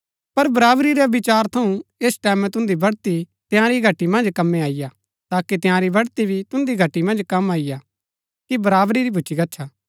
पर बराबरी रै विचार थऊँ ऐस टैमैं तुन्दी बढ़ती तंयारी घटी मन्ज कमै अईआ ताकि तंयारी बढ़ती भी तुन्दी घटी मन्ज कम अईआ कि बराबरी भूच्ची गच्छा